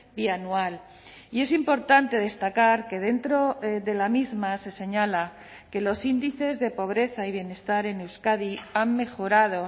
bianual y es importante destacar que dentro de la misma se señala que los índices de pobreza y bienestar en euskadi han mejorado